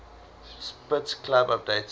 spitz club updated